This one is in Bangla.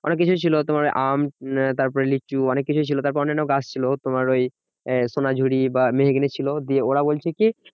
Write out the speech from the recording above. অনেককিছু ছিল, তোমার আম তারপরে লিচু অনেককিছু ছিল। তারপরে অন্যান গাছ ছিল তোমার ওই আহ সোনাঝুরি বা মেহগিনি ছিল। দিয়ে ওরা বলছে কি